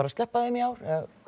að sleppa þeim í ár